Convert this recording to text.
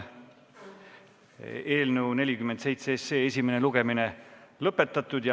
Eelnõu 47 esimene lugemine on lõpetatud.